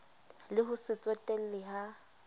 le ho se tsotelle ha